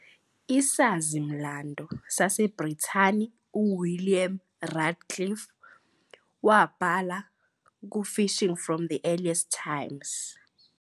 Isazi-mlando saseBrithani uWilliam Radcliffe wabhala "kuFishing from the Earliest Times".